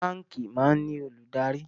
Báńkì máa ń ní olùdarí